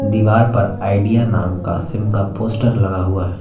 दीवार पर आईडिया नाम का सिम का पोस्टर लगा हुआ है।